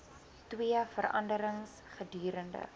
twee vergaderings gedurende